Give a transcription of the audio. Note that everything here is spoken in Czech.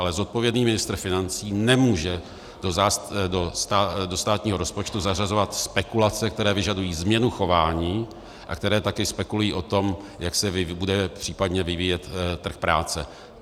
Ale zodpovědný ministr financí nemůže do státního rozpočtu zařazovat spekulace, které vyžadují změnu chování a které také spekulují o tom, jak se bude případně vyvíjet trh práce.